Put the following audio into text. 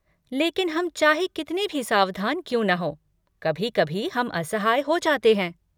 लेकिन हम चाहे कितने भी सावधान क्यों न हों, कभी कभी हम असहाय हो जाते हैं।